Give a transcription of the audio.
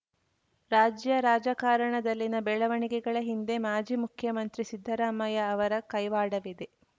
ರಾಜ್ಯ ರಾಜಕಾರಣದಲ್ಲಿನ ಬೆಳವಣಿಗೆಗಳ ಹಿಂದೆ ಮಾಜಿ ಮುಖ್ಯಮಂತ್ರಿ ಸಿದ್ದರಾಮಯ್ಯ ಅವರ ಕೈವಾಡವಿದೆ